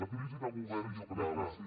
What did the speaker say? la crisi de govern jo crec que